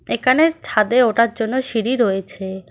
এখানে ছাদে ওঠার জন্য সিঁড়ি রয়েছে।